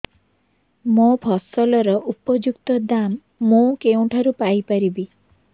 ମୋ ଫସଲର ଉପଯୁକ୍ତ ଦାମ୍ ମୁଁ କେଉଁଠାରୁ ପାଇ ପାରିବି